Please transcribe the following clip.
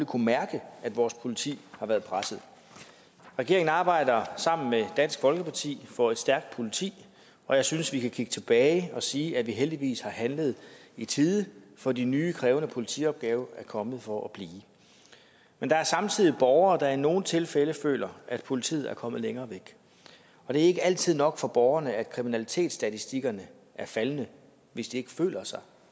kunnet mærke at vores politi har været presset regeringen arbejder sammen med dansk folkeparti for et stærkt politi og jeg synes vi kan kigge tilbage og sige at vi heldigvis har handlet i tide for de nye krævende politiopgaver er kommet for at blive men der er samtidig borgere der i nogle tilfælde føler at politiet er kommet længere væk og det er ikke altid nok for borgerne at kriminalitetsstatistikkerne er faldende hvis de ikke føler sig